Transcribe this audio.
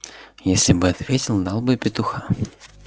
если бы ответил дал бы петуха